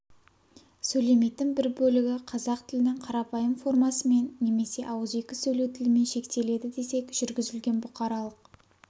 сөйлемейтін бір бөлігі қазақ тілінің қарапайым формасымен немесе ауызекі сөйлеу тілімен шектеледі десек жүргізілген бұқаралық